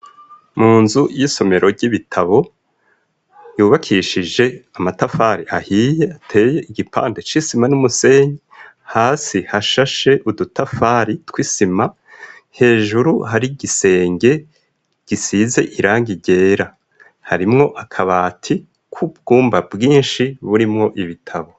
Mu nzu y'isomero ry'ibitabo yubakishije amatafari ahiye ateye igipande c'isima n'umusenyi hasi hashashe udutafari tw'isima hejuru hari igisenge gisize irangi igera harimwo akaba ati k'ubwumba bwinshi burimwo ibitabo.